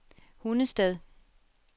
Hundested